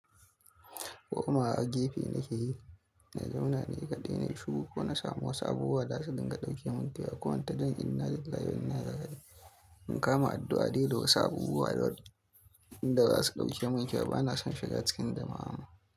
Komawa gefe nake yi, na zauna ni kaɗai na yi shiru ko na samu wasu abubuwa da za su dinga ɗauke mun kewa. Ko in ta yin innalillahi wa'inna ilaihi raji'un. In kama addu'a dai da wasu abubuwa da za su ɗauke mun kewa. Ba na son shiga cikin jama'a.